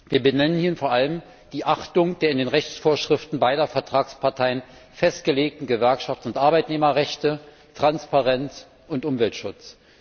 Wir benennen hier vor allem die Achtung der in den Rechtsvorschriften beider Vertragsparteien festgelegten Gewerkschafts und Arbeitnehmerrechte, Transparenz und Umweltschutz.